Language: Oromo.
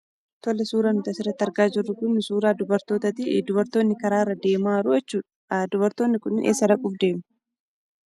Tole, suuraan nuti asirratti argaa jirru kuni suuraa dubartootaati. Dubartootni karaarra deemaa jiruu jechuudha. Dubartootni kunii eessa dhaquuf deemu?